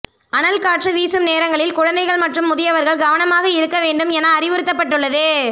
அனல்காற்று வீசும் நேரங்களில் குழந்தைகள் மற்றும் முதியவர்கள் கவனமாக இருக்க வேண்டும் என அறிவுறுத்தப்பட்டுள்ளது